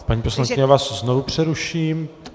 Paní poslankyně, já vás znovu přeruším.